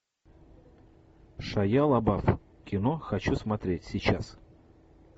шайа лабаф кино хочу смотреть сейчас